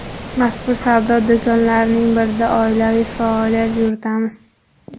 Mazkur savdo do‘konlarining birida oilaviy faoliyat yuritamiz.